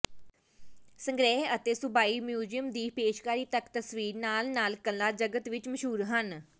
ਸੰਗ੍ਰਹਿ ਅਤੇ ਸੂਬਾਈ ਮਿਊਜ਼ੀਅਮ ਦੀ ਪੇਸ਼ਕਾਰੀ ਤੱਕ ਤਸਵੀਰ ਨਾਲ ਨਾਲ ਕਲਾ ਜਗਤ ਵਿਚ ਮਸ਼ਹੂਰ ਹਨ